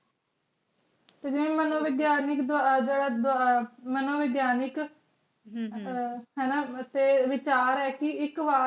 ਸੱਜਣ ਮਨੋਵਿਗਿਆਨਿਕ ਦਾ ਰਾਜ ਦਾ ਅਰਥ ਮਨੋਵਿਗਿਆਨਿਕ